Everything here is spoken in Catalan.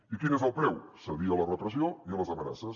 i quin és el preu cedir a la repressió i a les amenaces